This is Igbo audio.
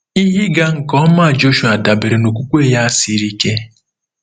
Ihe ịga nke ọma Jọshụa dabeere na okwukwe ya siri ike.